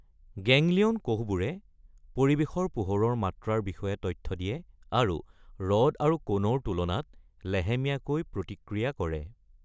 Ganglion কোষবোৰে পৰিৱেশৰ পোহৰৰ মাত্ৰাৰ বিষয়ে তথ্য দিয়ে আৰু ৰড আৰু কণৰ তুলনাত লেহেমীয়াকৈ প্ৰতিক্ৰিয়া কৰে।